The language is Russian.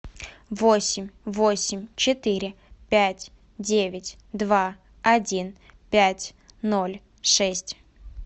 восемь восемь четыре пять девять два один пять ноль шесть